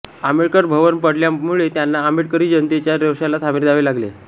आंबेडकर भवन पाडल्यामुळे त्यांना आंबेडकरी जनतेच्या रोषाला सामोरे जावे लागले